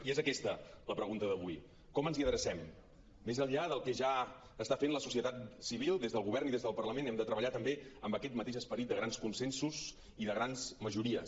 i és aquesta la pregunta d’avui com ens hi adrecem més enllà del que ja està fent la societat civil des del govern i des del parlament hem de treballar també amb aquest mateix esperit de grans consensos i de grans majories